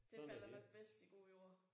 Det falder nok bedst i god jord